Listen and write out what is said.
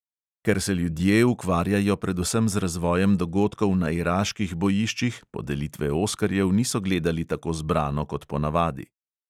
Ker se ljudje ukvarjajo predvsem z razvojem dogodkov na iraških bojiščih, podelitve oskarjev niso gledali tako zbrano kot ponavadi.